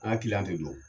An ka kiliyan tɛ don